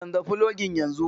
Canza fologin yanzun nan.